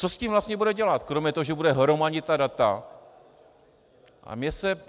Co s tím vlastně bude dělat kromě toho, že bude hromadit ta data?